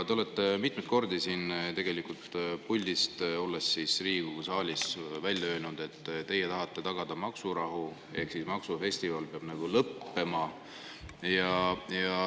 Te olete mitmeid kordi siit puldist, olles Riigikogu saalis, välja öelnud, et teie tahate tagada maksurahu, ehk maksufestival peab lõppema.